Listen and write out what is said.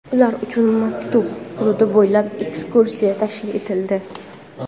ular uchun maktab hududi bo‘ylab ekskursiya tashkil etildi.